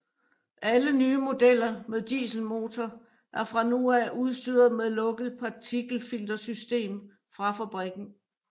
Alle nye modeller med dieselmotor er fra nu af udstyret med lukket partikelfiltersystem fra fabrikken